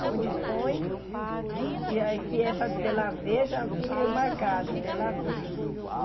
Aonde põe, e aí o que é para dela ver, já fica marcado, dela ver.